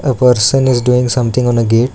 the person is doing something on a gate.